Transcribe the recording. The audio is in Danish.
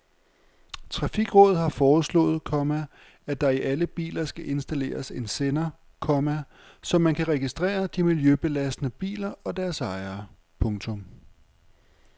Trafikrådet har foreslået, komma at der i alle biler skal installeres en sender, komma så man kan registrere de miljøbelastende biler og deres ejere. punktum